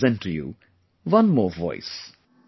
Now I present to you one more voice